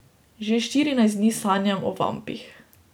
Že štirinajst dni sanjam o vampih.